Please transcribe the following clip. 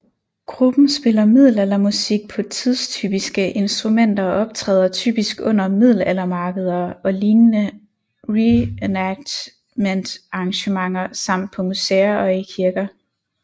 Gruppen spiller middelaldermusik på tidstypiske instrumenter og optræder typisk under middelaldermarkeder og lignende reenactmentarrangementer samt på museer og i kirker